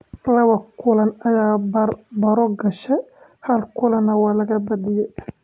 Laba kulan ayaa bar-baro gashay hal kulanna waa laga badiyay.